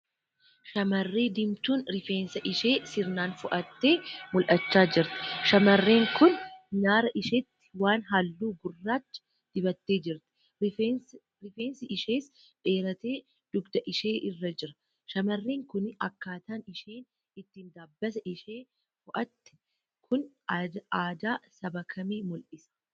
Shamarree diimtuun rifeensa ishee sirnaan fo'attee mul'achaa jirti. Shamarreen kun nyaara isheetti waan halluu gurraachaa dibattee jirti. Rifeensi ishees dheeratee dugda ishee irra jira. Shamarreen kun akkaataan isheen itti dabasaa ishee fo'atte kun aadaa saba kamii mul'isaa?